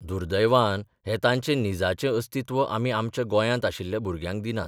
दुर्दैवान हें तांचें निजाचें अस्तित्व आमी आमच्या गोंयांत आशिल्ल्या भुरग्यांक दिनात.